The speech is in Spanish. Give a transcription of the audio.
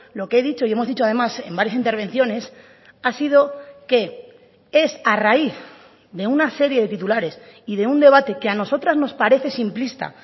lo que he dicho y hemos dicho además en varias intervenciones ha sido que es a raíz de una serie de titulares y de un debate que a nosotras nos parece simplista